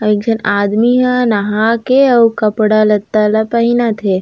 आऊ एक झन आदमी ह नहा के आऊ कपड़ा-लत्ता ला पहिनत हे।